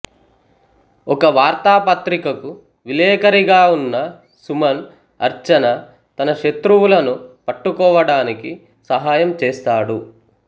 ఒక వార్తాపత్రికకు విలేకరిగా ఉన్న సుమన్ అర్చన తన శత్రువులను పట్టుకోవటానికి సహాయం చేస్తాడు